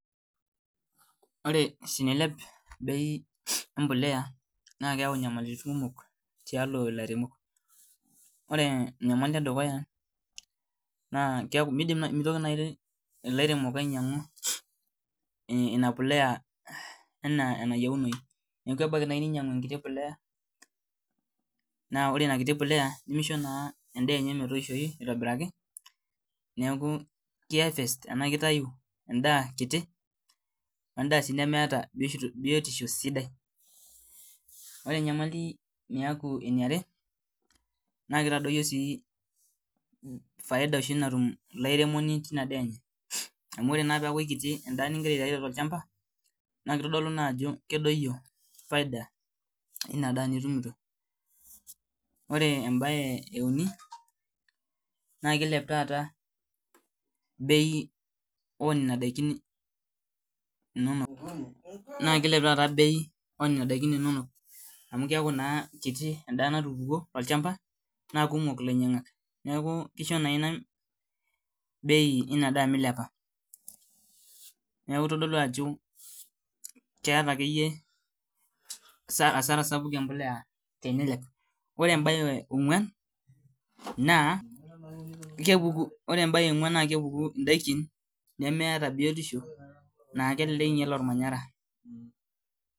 Ore tenilep bei e mbolea naa keyau inyamalaritin kumok tialo ilairemok. Ore enyamali e dukuya naa mitoki naai ilairemok ainyang'u ina please enaa enayieunoyu. Neeku ebaiki naai ninyang'u enkiti polea, naa ore ina kiti polea nemisho naa endaa enye metoishoyu aitobiraki naleeku ki harvest enaa kitayu endaa kiti, endaa sii nemeeta biotisho sidai. Ore enyamali naaku eniare, naa kitadoiyio sii faida oshi natum ilo airemoni teina daa enye. Amu ore naa peeku kiti endaa nigira aitayu tiatwa olchamba naa kitodolu naa ajo kedoyio faida eina daa nitumito. Ore embae e uni, naa kiilep taata bei oo nena daiki inonok amu keeku naa kiti endaa natupukwo tolchamba naa kumok ilainyang'ak. Neeku kisho naa ina bei ina daa milepa. Neeku itodolu ajo keeta akeyie hasara sapuk embolea tenilep. Ore embae e ong'wan naa kepuku, ore embae e ong'wan naa kepuku indaiki nemeeta biotishu naa kelelek inyal ormanyara